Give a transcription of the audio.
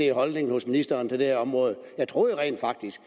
er holdningen hos ministeren til det her område jeg troede rent faktisk